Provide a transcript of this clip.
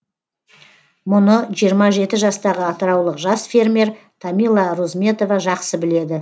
мұны жиырма жеті жастағы атыраулық жас фермер тамила розметова жақсы біледі